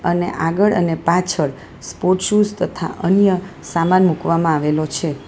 અને આગળ અને પાછળ સ્પોર્ટ શૂઝ તથા અન્ય સામાન મૂકવામાં આવેલો છે.